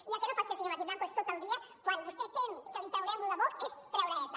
i el que no pot fer senyor martín blanco és tot el dia quan vostè tem que li traurem lo de vox és treure eta